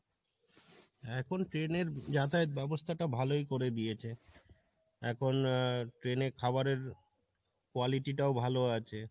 এখন train এর যাতায়াত ব্যাবস্থা টা ভালোই করে দিয়েছে এখন আহ train এ খাওয়ারের quality টাও ভালো আছে